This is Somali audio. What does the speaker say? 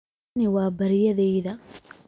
Tani waa baryadayda.